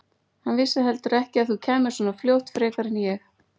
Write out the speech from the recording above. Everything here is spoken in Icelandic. Hann vissi heldur ekki að þú kæmir svona fljótt frekar en ég.